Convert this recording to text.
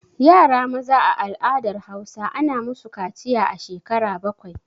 Yara maza a al'adar Hausa ana musu kaciya a shekara bakwai